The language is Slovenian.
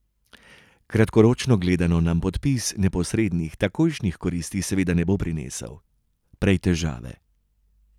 Kratkoročno gledano nam podpis neposrednih, takojšnjih koristi seveda ne bo prinesel, prej težave.